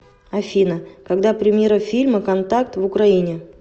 афина когда премьера фильма контакт в украине